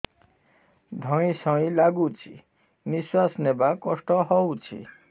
ଧଇଁ ସଇଁ ଲାଗୁଛି ନିଃଶ୍ୱାସ ନବା କଷ୍ଟ ହଉଚି